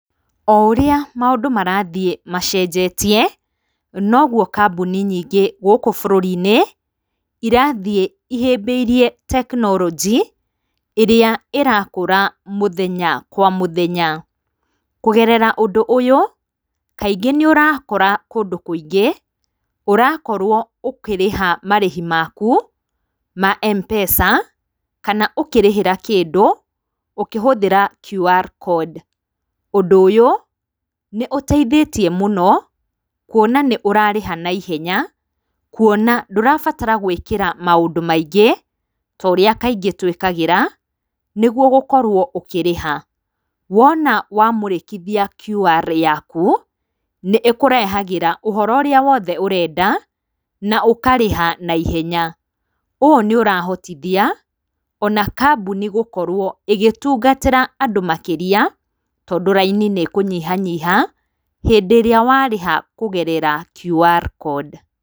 Oũrĩa maũndũ marathiĩ macenjetie noguo kambuni nyingĩ gũkũ bũrũrinĩ irathiĩ ihĩbĩirie tekinoronjĩ ĩrĩa ĩrakũra omũthenya kwa mũthenya, kũgerera ũndũ ũyũ kaing nĩũrakora kũndũ kũingĩ ũrakorwo ũkĩrĩha marĩhi maku ma Mpesa kana ũkĩrĩhĩra kĩndũ ũkĩhũthĩra QR Code, ũndũ ũyũ nĩũteithĩtie mũno kũona nĩ ũrarĩha na ihenya kũona ndũrabatara gũĩkĩra maũndũ maingĩ torĩa kaingĩ tũĩkagĩra nĩguo ũkorwe ũkĩrĩha, wona wamũrĩkithia QR yaku, nĩkũrehagĩra ũhoro ũrĩa wothe ũrenda na ũkarĩha na ihenya, ũũ nĩũrahotithia ona kambũni gũkorwo ĩgĩtungatĩra andũ makĩrĩa tondũ raini nĩkũnyihanyiha hĩndĩ ĩrĩa warĩha kũgerera[csQR Code.